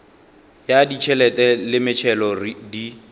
ya ditšhelete le metšhelo di